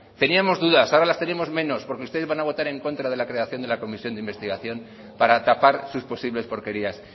teníamos dudas ahora las tenemos menos porque ustedes van a votar en contra de la creación de la comisión de investigación para tapar sus posibles porquerías